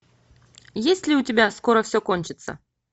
есть ли у тебя скоро все кончится